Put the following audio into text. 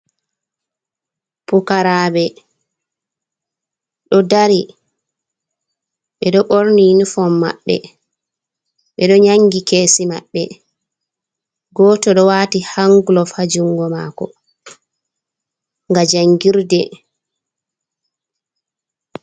Pukaraɓe ɗo dari ɓe ɗo ɓorni nufon maɓɓe ɓe ɗo nyangi kesi maɓɓe goto ɗo wati hanglof ha jungo mako ga jangirde.